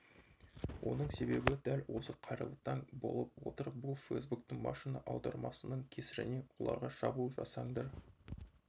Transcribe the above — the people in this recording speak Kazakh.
оның себебі дәл осы қайырлы таң болып отыр бұл фейсбуктың машина аудармасының кесірінен оларға шабуыл жасаңдар